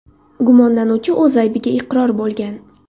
Gumonlanuvchi o‘z aybiga iqror bo‘lgan.